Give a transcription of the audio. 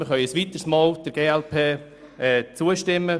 Wir können der glp ein weiteres Mal zustimmen.